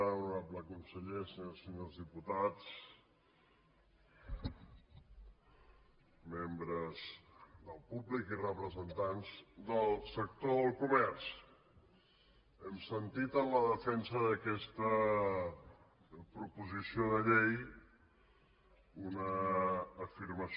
honorable conseller senyores i senyors diputats membres del públic i representants del sector del comerç hem sentit en la defensa d’aquesta proposició de llei una afirmació